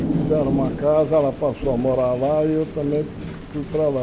E fizeram uma casa, ela passou a morar lá e eu também fui para lá.